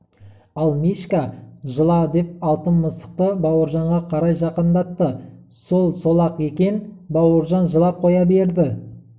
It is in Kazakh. ал мишка жыла деп алтын мысықты бауыржанға қарай жақындатты сол сол-ақ екен бауыржан жылап қоя берді